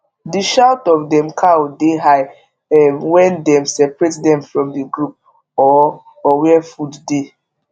the shout of dem cow de high um wen dem separate dem from the group or or where food dey